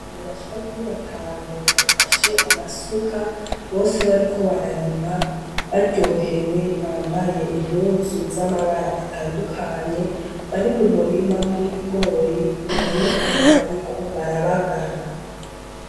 Abantu bashika kuri batanu bafashe amasuka, bose bariko bararima baryohewe bambaye impuzu z'amabara atandukanye bari mu murima w'ibigori biboneka ko bariko barabagara.